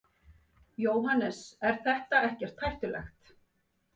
Jóhannes: Er þetta ekkert hættulegt?